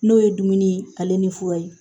N'o ye dumuni ale ni fura ye